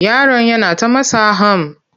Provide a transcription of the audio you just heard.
Yaron yana ta matsa ham.